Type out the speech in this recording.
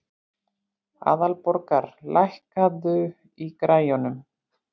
Aðalborgar, lækkaðu í græjunum.